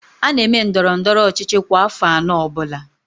A na-eme ndọrọndọrọ ọchịchị kwa afọ anọ ọbụla